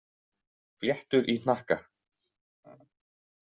Fléttur í hnakka.